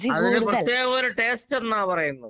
അതിന് പ്രത്യേക ഒര് ടേസ്റ്റ് എന്നാ പറയുന്നത്.